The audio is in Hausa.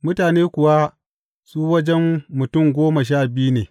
Mutane kuwa su wajen mutum goma sha biyu ne.